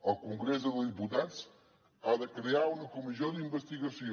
el congrés dels diputats ha de crear una comissió d’investigació